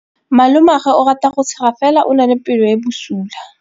Malomagwe o rata go tshega fela o na le pelo e e bosula.